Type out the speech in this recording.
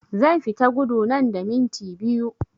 Zan fita gudu nan da minti biyu